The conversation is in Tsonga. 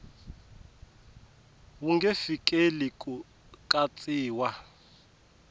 wu nge fikeleli ku katsiwa